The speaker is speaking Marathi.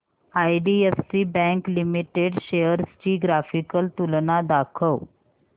आयडीएफसी बँक लिमिटेड शेअर्स ची ग्राफिकल तुलना दाखव